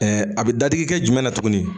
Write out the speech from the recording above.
a bɛ dadigi kɛ jumɛn na tuguni